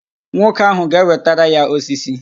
Nwoke ahụ ga-ewetara ya osisi